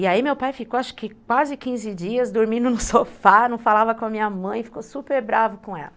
E aí meu pai ficou acho que quase quinze dias dormindo no sofá, não falava com a minha mãe, ficou super bravo com ela.